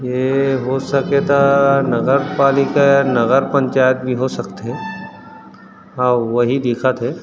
ये हो सके त नगर पालिका नगर पंचायत भी हो सकत हे अउ वही दिखथे।